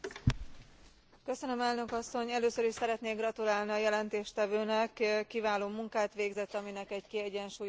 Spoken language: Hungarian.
Először is szeretnék gratulálni a jelentéstevőnek, kiváló munkát végzett, aminek egy kiegyensúlyozott jelentés lett az eredménye.